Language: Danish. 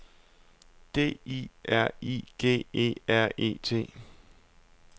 D I R I G E R E T